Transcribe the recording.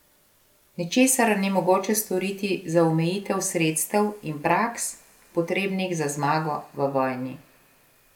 Ničesar ni mogoče storiti za omejitev sredstev in praks, potrebnih za zmago v vojni.